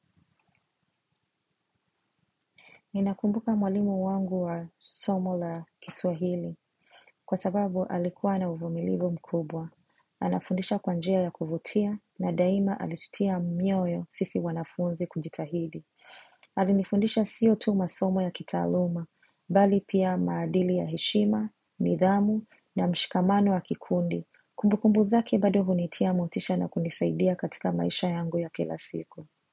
Ninakumbuka mwalimu wangu wa somo la kiswahili kwa sababu alikuwa na uvumilivu mkubwa. Anafundisha kwa njia ya kuvutia na daima alitutia mioyo sisi wanafunzi kujitahidi. Alinifundisha sio tu masomo ya kitaaluma, bali pia maadili ya heshima, nidhamu na mshikamano wa kikundi. Kumbukumbu zake bado hunitia motisha na kunisaidia katika maisha yangu ya kila siku.